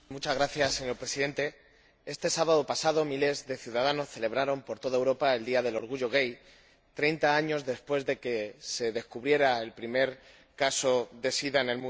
Señor Presidente, este sábado pasado miles de ciudadanos celebraron por toda Europa el Día del Orgullo Gay treinta años después de que se descubriera el primer caso de sida en el mundo.